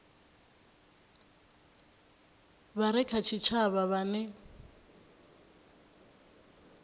vha re kha tshitshavha vhane